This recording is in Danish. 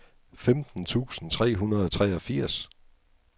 femten tusind tre hundrede og treogfirs